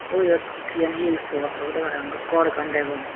koyot eyen hi pot obodey parapang gor ekkan degong.